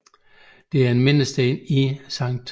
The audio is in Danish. Der er en mindesten i Sct